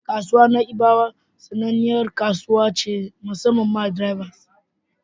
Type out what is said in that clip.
Kasuwar Na'ibawa sananniyar kasuwa ce musammam ma drivers.